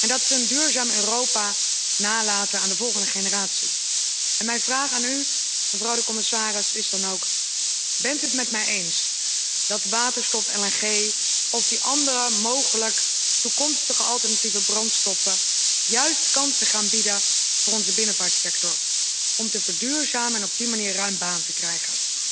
willen, namelijk een duurzaam Europa nalaten aan de volgende generatie. En mijn vraag aan u, mevrouw de commissaris, is dan ook Bent u het met mij eens dat waterstof, LNG of die andere mogelijke, toekomstige alternatieve brandstoffen juist kansen bieden voor onze binnenvaartsector om te verduurzamen en op die manier ruim baan te krijgen?